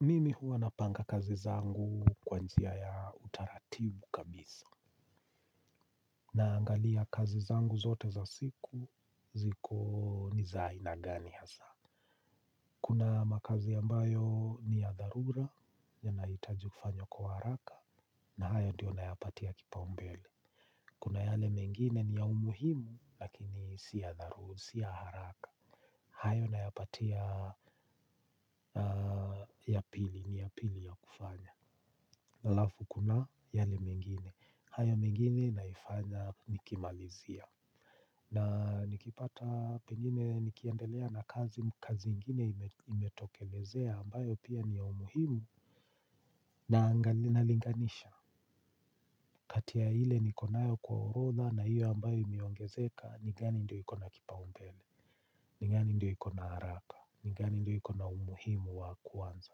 Mimi huwa napanga kazi zangu kwa njia ya utaratibu kabisa. Naangalia kazi zangu zote za siku ziko ni za aina gani hasa. Kuna makazi ambayo ni ya dharura yanahitaji kufanywa kwa haraka. Na hayo ndiyo nayapatia kipaumbele. Kuna yale mengine ni ya umuhimu lakini si ya dharu si ya haraka. Hayo na yapatia ya pili ni ya pili ya kufanya alafu kuna yale mengine, hayo mengine naifanya nikimalizia. Na nikipata pengine nikiendelea na kazi kazi ingine imetokelezea ambayo pia ni ya umuhimu ninalinganisha. Katia hile nikonayo kwa urodha na hiyo ambayo imiongezeka nigani ndio ikona kipa umbele, nigani ndio ikona haraka, nigani ndio ikona umuhimu wa kuwanza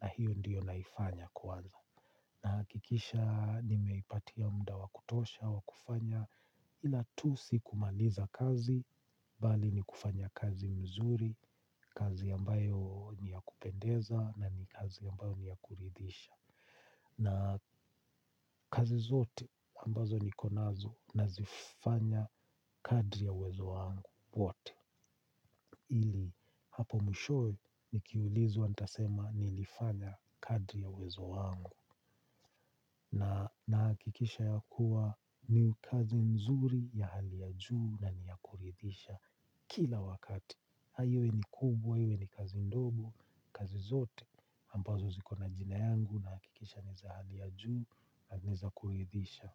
na hiyo ndio naifanya kuwanza. Na hakikisha nimeipatia muda wa kutosha wa kufanya ila tu si kumaliza kazi, bali ni kufanya kazi mzuri, kazi ambayo ni ya kupendeza na ni kazi ambayo ni ya kuridhisha. Na kazi zote ambazo nikonazo nazifanya kadri ya uwezo wangu wote. Ili hapo mwishowe nikiulizwa nitasema nilifanya kadri ya uwezo wangu. Na nahakikisha ya kuwa ni kazi mzuri ya hali ya juu na ni ya kuridhisha kila wakati. Iwe ni kubwa iwe ni kazi ndogo kazi zote. Ambazo ziko na jina yangu nahakikisha ni za hali ya juu na ni za kuridhisha.